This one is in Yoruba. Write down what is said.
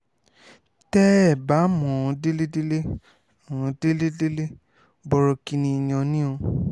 tẹ́ẹ bá mọ̀ ọ́n délẹ̀délẹ̀ ọ́n délẹ̀délẹ̀ bọ̀rọ̀kìnní èèyàn ni o